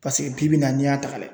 Paseke bi bi in na n'i y'a ta ka lajɛ